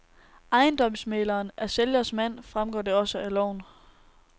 Ejendomsmægleren er sælgers mand, fremgår det også af loven.